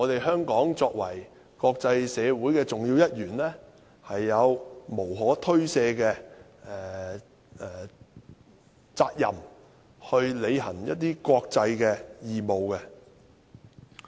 香港作為國際社會的重要一員，有無可推卸的責任，去履行一些國際的義務。